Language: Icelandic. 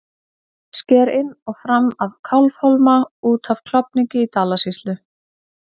Sker inn og fram af Kálfhólma út af Klofningi í Dalasýslu.